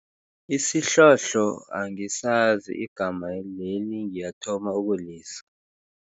Isihlohlo angisazi, igama leli ngiyathoma ukulizwa.